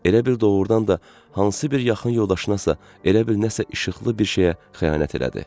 Elə bil doğrudan da hansı bir yaxın yoldaşına isə, elə bil nəsə işıqlı bir şeyə xəyanət elədi.